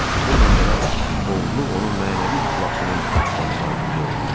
Bununla belə, oğurluq onun mənəvi iflasının başlanğıcı oldu.